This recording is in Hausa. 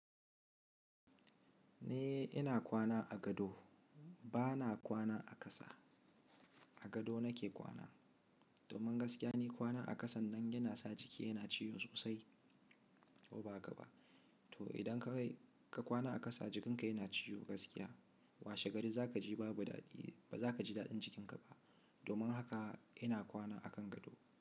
Ni ina kwana a gado, ba na kwana a ƙasa. A gado nake kwana. Domin gaskiya ni kwana a ƙasan nan yana sa jiki yana ciwo sosai ko ba hakaba. To idan ka kai ka kwana a ƙasa, jikinka yana ciwo gaskiya. Washe gari za ka ji babu daɗi. Ba za ka ji daɗin jikinka ba. Domin haka ina kwana a kan gado.